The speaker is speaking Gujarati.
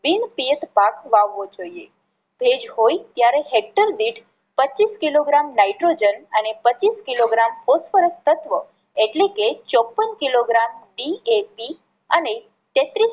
બિન પિયત પાક વાવવો જોઈએ. ભેજ હોય ત્યારે હેક્ટર દીઠ પચીસ કિલોગ્રામ નાઈટ્રોજન અને પચીસ કિલોગ્રામ ફૉસ્ફરસ તત્વ એટલે કે ચોપન કિલોગ્રામ DAT અને તેત્રીસ